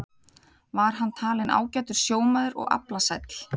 Var hann talinn ágætur sjómaður og aflasæll.